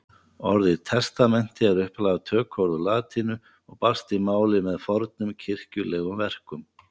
Orðið testamenti er upphaflega tökuorð úr latínu og barst í málið með fornum kirkjulegum verkum.